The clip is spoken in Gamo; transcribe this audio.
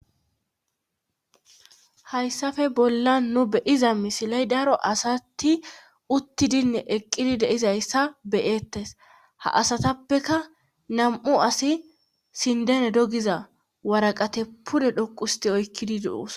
hayssafe bolla nu beyiza misiley daro asati uttidinne eqqidi deizayssa beyeettes ha asatappeka nam7u asi sindene dogiza waraqate pude dhoqusti oykkidi de7oos